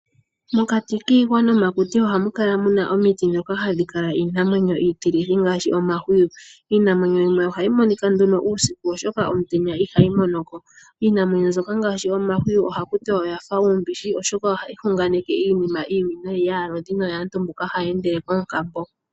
Mokati kiihwa nomakuti ohamukala muna omiti ndhoka hadhi kala iinamwenyo iitilithi ngaashi omahwiyu. Iinamwenyo yimwe ohayi monika nduno uusiku oshoka omutenya ihayi monoko. Iinamwenyo mbyoka ngaashi omahwiyu ohakuti oyafa uumbishi, oshoka ohayi hunganeke iinima iiwinayi yaalodhi noyaantu mboka haya endele koonkambo.